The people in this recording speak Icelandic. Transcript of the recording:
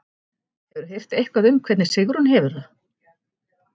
Hefurðu heyrt eitthvað um hvernig Sigrún hefur það?